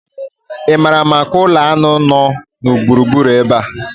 Ị maara maka ụlọ aṅụ nọ na gburugburu ebe a?